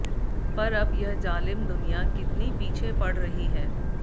पर अब यह जालिम दुनिया कितनी पीछे पड़ रही है